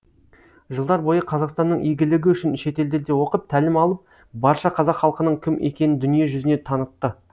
жылдар бойы қазақстанның игілігі үшін шетелдерде оқып тәлім алып барша қазақ халқының кім екенін дүние жүзіне танытты